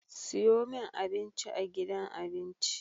Siyomin abinci a gidan abinci